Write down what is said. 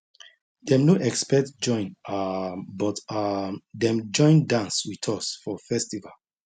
dem no expect join um but um dem join dance with us for festival